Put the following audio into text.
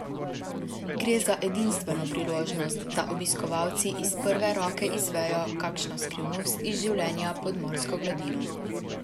Gre za edinstveno priložnost, da obiskovalci iz prve roke izvejo kakšno skrivnost iz življenja pod morsko gladino.